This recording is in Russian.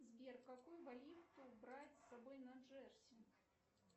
сбер какую валюту брать с собой на джерси